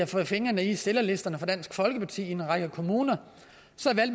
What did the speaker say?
fået fingrene i stillerlisterne for dansk folkeparti i en række kommuner